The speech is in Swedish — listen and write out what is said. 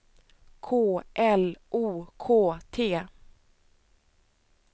K L O K T